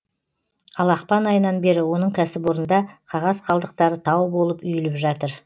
ал ақпан айынан бері оның кәсіпорнында қағаз қалдықтары тау болып үйіліп жатыр